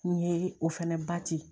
N ye o fɛnɛ bati